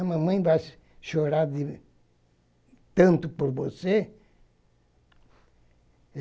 A mamãe vai chorar de tanto por você.